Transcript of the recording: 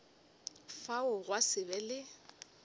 fao gwa se be le